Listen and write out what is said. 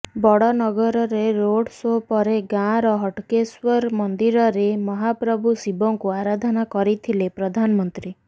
ବଡନଗରରେ road show ପରେ ଗାଁର ହଟକେଶ୍ୱର ମନ୍ଦିରରେ ମହାପ୍ରଭୁ ଶିବଙ୍କୁ ଆରାଧନା କରିଥିଲେ ପ୍ରଧାନମନ୍ତ୍ରୀ